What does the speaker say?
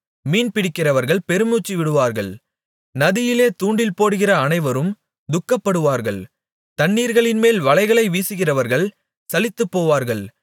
மீன்பிடிக்கிறவர்கள் பெருமூச்சுவிடுவார்கள் நதியிலே தூண்டில்போடுகிற அனைவரும் துக்கப்படுவார்கள் தண்ணீர்களின்மேல் வலைகளை வீசுகிறவர்கள் சலித்துப்போவார்கள்